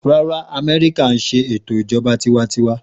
Rárá Amẹ́ríkà ńṣe ètò Ìjọba tiwańtiwa.